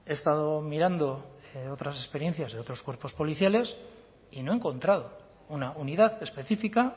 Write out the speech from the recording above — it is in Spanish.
he estado mirando otras experiencias de otros cuerpos policiales y no he encontrado una unidad específica